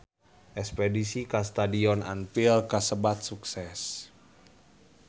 Espedisi ka Stadion Anfield kasebat sukses